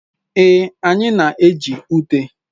Ee, anyị na-eji ute.